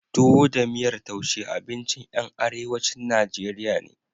Tuwo da miyar taushe abinci ƴan arewacin Najeriya ne.